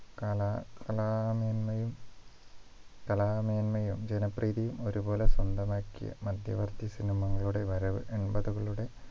കള കളാമെന്മയും കലാമേന്മയും ജനപ്രീതിയും ഒരുപോലെ സ്വന്തമാക്കിയ മധ്യവർത്തി cinema കളുടെ വരവ് എൺപത്കളുടെ